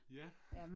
Ja